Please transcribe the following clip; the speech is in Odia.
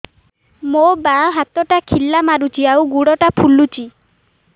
ମୋ ବାଆଁ ହାତଟା ଖିଲା ମାରୁଚି ଆଉ ଗୁଡ଼ ଟା ଫୁଲୁଚି